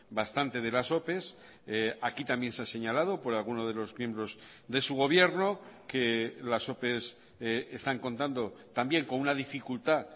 bastante de las ope aquí también se ha señalado por alguno de los miembros de su gobierno que las ope están contando también con una dificultad